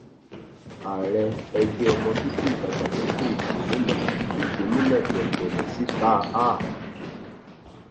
ààrẹ ẹgbẹ ọmọ bíbí ìdàgbàsókè ìgbòmínà igbómìnà dembelesítà a